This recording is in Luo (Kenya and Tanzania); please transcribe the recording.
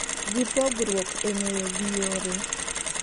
Gi pogruok e ng'eyo gi yore